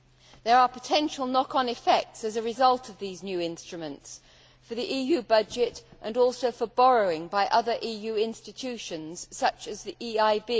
There are potential knock on effects, as a result of these new instruments, for the EU budget and also for borrowing by other EU institutions, such as the EIB.